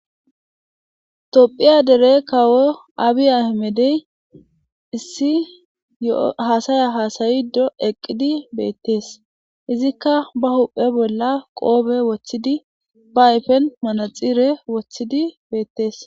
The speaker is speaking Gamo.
Tophiya dere kawo abi ahimedey issi yo7o haasaya haasayiiddo eqqidi beettees. Izikka ba huuphe bolla qoobe wothidi ba ayfen manaxxire wothidi beetes.